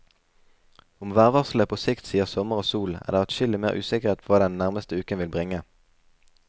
Om værvarselet på sikt sier sommer og sol, er det adskillig mer usikkert hva den nærmeste uken vil bringe.